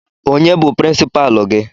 Onye bụ prinsipalu gị?